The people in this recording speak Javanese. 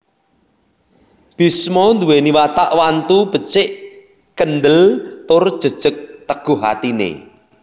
Bisma nduwèni watak wantu becik kendhel tur jejeg teguh atine